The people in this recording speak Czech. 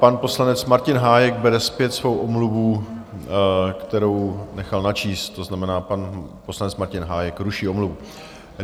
Pan poslanec Martin Hájek bere zpět svou omluvu, kterou nechal načíst, to znamená, pan poslanec Martin Hájek ruší omluvu.